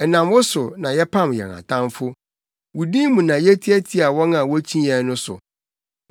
Ɛnam wo so na yɛpam yɛn Atamfo; wo din mu na yetiatia wɔn a wokyi yɛn no so.